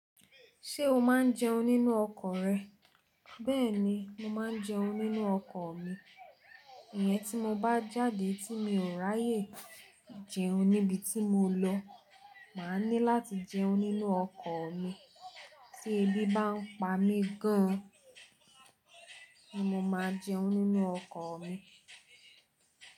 Ṣé o máa ń jẹun nínú ọkọ̀ rẹ? Bẹ́ẹ̀ni, mo máa ń jẹun nínú ọkọ̀ mi. Ìyẹn tí mo bá jáde tí mi ò ráyè jẹun níbi tí mo lọ. Máa ní láti jẹun nínú ọkọ̀ mi. Tí ebi bá ń pa mí gan an ni mo máa jẹun nínú ọkọ̀ mi.